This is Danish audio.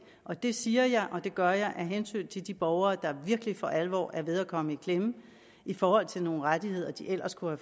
og det siger jeg og det gør jeg af hensyn til de borgere der virkelig for alvor er ved at komme i klemme i forhold til nogle rettigheder de ellers kunne